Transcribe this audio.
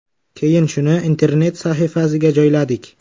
Keyin shuni internet sahifasiga joyladik.